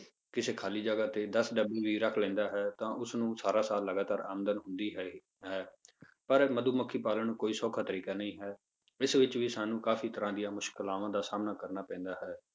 ਕਿਸੇ ਖਾਲੀ ਜਗ੍ਹਾ ਤੇ ਦਸ ਡੱਬੇ ਵੀ ਰੱਖ ਲੈਂਦਾ ਹੈ, ਤਾਂ ਉਸ ਨੂੰ ਸਾਰਾ ਸਾਲ ਲਗਾਤਾਰ ਆਮਦਨ ਹੁੰਦੀ ਹੈ ਹੈ ਪਰ ਮਧੂਮੱਖੀ ਪਾਲਣ ਕੋਈ ਸੌਖਾ ਤਰੀਕਾ ਨਹੀਂ ਹੈ, ਇਸ ਵਿੱਚ ਵੀ ਸਾਨੂੰ ਕਾਫ਼ੀ ਤਰ੍ਹਾਂ ਦੀਆਂ ਮੁਸ਼ਕਲਾਵਾਂ ਦਾ ਸਾਹਮਣਾ ਕਰਨਾ ਪੈਂਦਾ ਹੈ।